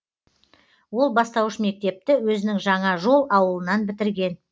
ол бастауыш мектепті өзінің жаңа жол ауылынан бітірген